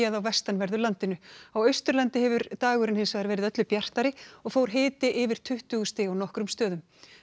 á vestanverðu landinu á Austurlandi hefur dagurinn hins vegar verið öllu bjartari og fór hiti yfir tuttugu stig á nokkrum stöðum